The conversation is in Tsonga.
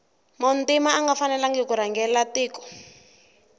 muntima anga fanelangi kurhangela tiko